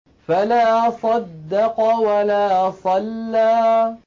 فَلَا صَدَّقَ وَلَا صَلَّىٰ